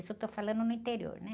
Isso eu estou falando no interior, né?